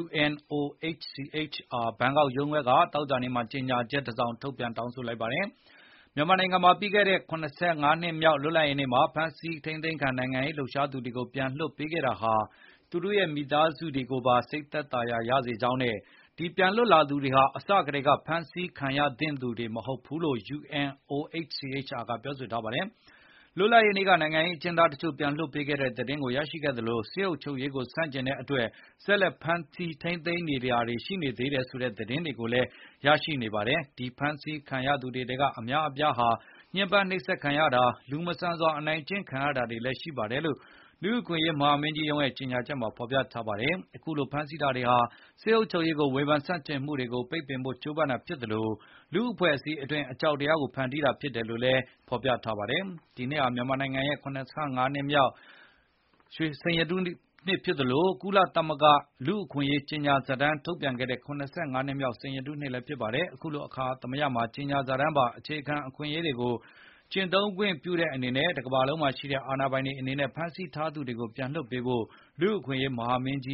UN OHCHR ဘန်ကောက်ရုံးခွဲက သောကြာနေ့မှာ ကြေညာချက်တစောင် ထုတ်ပြန် တောင်းဆိုလိုက်ပါတယ်။ မြန်မာနိုင်ငံမှာ ပြီးခဲ့တဲ့ ၇၅ နှစ်မြောက်လွတ်လပ်ရေးနေ့က အဖမ်းဆီးခံ နိုင်ငံရေးလှုပ်ရှားသူတွေကို ပြန်လွှတ်ပေးခဲ့တာဟာ သူတို့ရဲ့ မိသားစုတွေကိုပါ စိတ်သက်သာရာရစေကြောင်းနဲ့ ဒီပြန်လွတ်လာသူတွေဟာ အစကတည်းကဖမ်းဆီးခံရသင့်သူ တွေမဟုတ်ဘူးလို့လည်း UN OHCHR ကပြောဆိုထားပါတယ်။ လွတ်လပ်ရေးနေ့က နိုင်ငံရေးအကျဉ်းသားတချို့ကို ပြန်လွှတ်ပေးခဲ့တဲ့ သတင်းကိုရရှိခဲ့သလို၊ စစ်အုပ်ချုပ်ရေးကို ဆန့်ကျင်တဲ့အတွက် ဆက်လက်ဖမ်းဆီး ထိန်းသိမ်းထားသူတွေ ကျန်ရှိသေးတယ်ဆိုတဲ့ သတင်းတွေကို ဆက်လက်ရရှိနေပါတယ်။ ဒီဖမ်းဆီးခံထားရသူ တွေထဲက အများအပြားဟာ ညှင်းပန်းနှိပ်စက်တာ၊ လူမဆန်စွာ အနိုင်ကျင့်ခံရတာတွေ လည်းရှိနေတယ်လို့ လူ့အခွင့်ရေးဆိုင်ရာ မဟာမင်းကြီးရုံးရဲ့ ကြေညာချက်မှာ ဖေါ်ပြထားပါတယ်။ အခုလို ဖမ်းဆီးတာတွေဟာ စစ်အုပ်ချုပ်ရေးကို ဝေဘန်ဆန့်ကျင်မှု တွေကို ပိတ်ပင်ဖို့ကြိုးပမ်းတာဖြစ်သလို၊ လူ့အဖွဲ့အစည်းအတွင်း အကြောက်တရားကို ဖန်တီးဖို့ဖြစ်တယ်လို့လည်းဆိုပါ တယ်။ ဒီနှစ်ဟာ မြန်မာနိုင်ငံရဲ့ ၇၅ နှစ်မြောက် လွတ်လပ်ရေးနှစ်ဖြစ်သလို၊ ကုလသမဂ္ဂ လူ့အခွင့်အရေးကြေညာစာတမ်း ထုတ်ပြန်ခဲ့တဲ့ ၇၅ နှစ်မြောက် စိန်ရတုနှစ်လည်းဖြစ်ပါတယ်။ အခုလို အခါသမယမှာ ကြေညာစာတမ်းပါ အခြေခံ အခွင့် အရေးတွေကို ကျင့်သုံးခွင့်ပြုတဲ့အနေနဲ့ တကမ္ဘာလုံးမှာရှိတဲ့ အစိုးရတွေအနေနဲ့ ဖမ်းဆီးထားသူတွေကို ပြန်လွှတ်ပေးဖို့ လူ့အခွင့် အရေးမဟာမင်းကြ